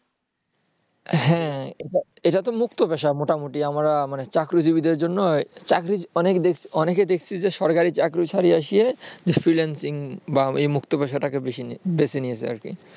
হ্যাঁ এটা তো মুক্ত পেশা মোটামুটি আমরা মানে চাকরিজিবীদের জন্য অনেককে দেখেছি যে সরকারি চাকরি ছেড়ে এসে freelancing বা মুক্ত পেশাটাকে বেছে নিয়েছে